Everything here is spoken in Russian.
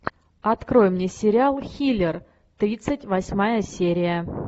открой мне сериал хилер тридцать восьмая серия